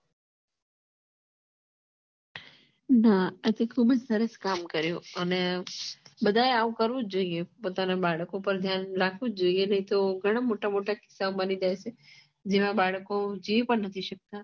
હા એ તો ખુબજ સરસ કામ કર્યું અને બધા એ આવું કરવું જોયીયે પોતાના બાળક ઉપર ધ્યાન રાખવું જોઈયે નહિ તો ઘણા મોટા મોટા કિસ્સા બની જાય છે જેમાં બાળકો જીવ પણ